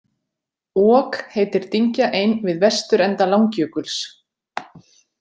Ok heitir dyngja ein við vesturenda Langjökuls.